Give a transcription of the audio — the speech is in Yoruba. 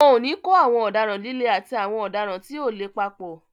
Wọn ò ní kó àwọn ọ̀daràn líle àti àwọn ọ̀daràn tí ò le papọ̀.